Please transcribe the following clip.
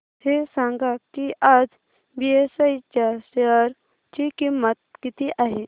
हे सांगा की आज बीएसई च्या शेअर ची किंमत किती आहे